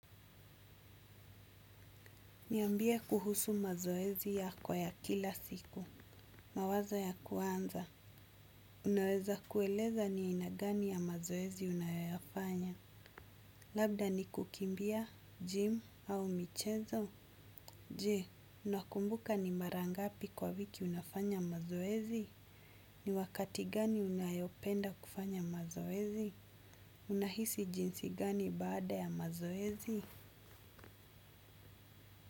Niambie kuhusu mazoezi yako ya kila siku. Mawazo ya ku anza. Unaweza kueleza ni aina gani ya mazoezi unayoyafanya. Labda ni kukimbia, gym, au michezo. Je, unakumbuka ni mara ngapi kwa wiki unafanya mazoezi. Ni wakati gani unayopenda kufanya mazoezi. Unahisi jinsi gani baada ya mazoezi.